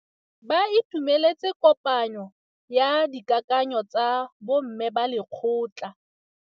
Ba itumeletse kôpanyo ya dikakanyô tsa bo mme ba lekgotla.